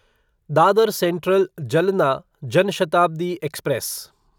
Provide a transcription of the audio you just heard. Dadar central Jalna Jan Shatabdi express